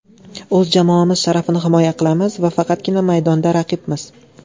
O‘z jamoamiz sharafini himoya qilamiz va faqatgina maydonda raqibmiz.